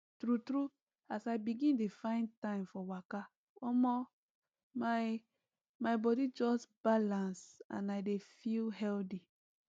true true as i begin dey find time for waka omo my my body just balance and i dey feel healthy